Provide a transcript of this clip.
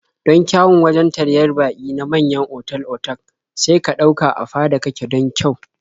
Don kyawun wajen taryar baƙi na manyan otal-otak sai ka ɗauka a fada kake don kyau.